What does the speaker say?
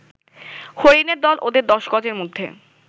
হরিণের দল ওদের দশ গজের মধ্যে